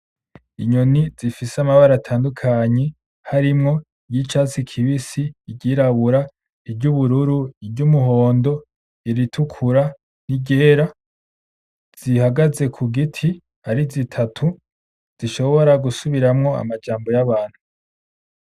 Inyoni zifise amabara atandukanye harimwo iy'icatsi kibisi , iry'irabura, iry'ubururu, iry'umuhondo , iritukura n'iryera , zihagaze kugiti ari zitatu zishobora gusubiramwo amajambo y'abantu.